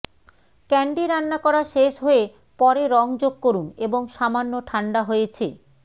candy রান্না করা শেষ হয়ে পরে রং যোগ করুন এবং সামান্য ঠান্ডা হয়েছে